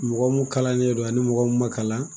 Mɔgɔ mun kalannen don ani mɔgɔ mun ma kalan.